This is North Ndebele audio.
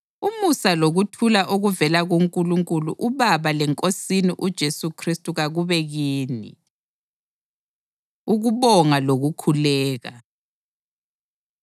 Umusa lokuthula okuvela kuNkulunkulu uBaba leNkosini uJesu Khristu kakube kini. Ukubonga Lokukhuleka